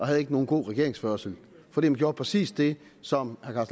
havde nogen god regeringsførelse for man gjorde præcis det som herre